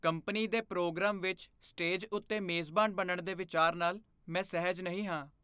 Company ਦੇ programme ਵਿੱਚ stage ਉੱਤੇ ਮੇਜ਼ਬਾਨ ਬਣਨ ਦੇ ਵਿਚਾਰ ਨਾਲ ਮੈਂ ਸਹਿਜ ਨਹੀਂ ਹਾਂ।